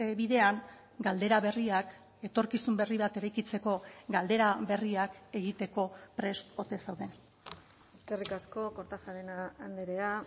bidean galdera berriak etorkizun berri bat eraikitzeko galdera berriak egiteko prest ote zauden eskerrik asko kortajarena andrea